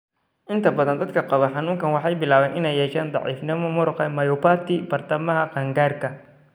Inta badan dadka qaba xanuunkaan waxay bilaabaan inay yeeshaan daciifnimo muruqa (myopathy) bartamaha qaangaarka.